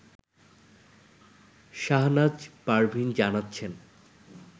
শাহনাজ পারভীন জানাচ্ছেন